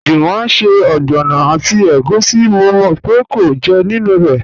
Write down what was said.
Juwọn n ṣẹ̀ ọgbọnọ àti ègùsí, mò mò pẹ̀ ń kọ̀ jẹ́ nínu rẹ́.